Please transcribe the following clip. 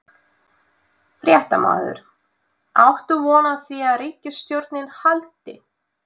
Fréttamaður: Átt þú von á því að ríkisstjórnin haldi?